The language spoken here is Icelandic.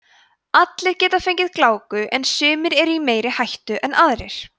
allir geta fengið gláku en sumir eru í meiri hættu en aðrir